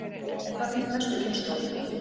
En hvað finnst næstu kynslóðum?